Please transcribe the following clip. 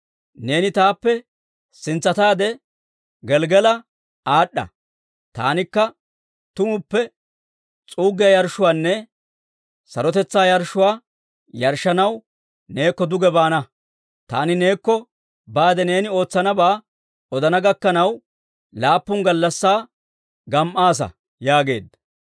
«Neeni taappe sintsataade Gelggala aad'd'a. Taanikka tumuppe s'uuggiyaa yarshshuwaanne sarotetsaa yarshshuwaa yarshshanaw neekko duge baana. Taani neekko baade neeni ootsanabaa odana gakkanaw, laappun gallassaa gam"aasa» yaageedda.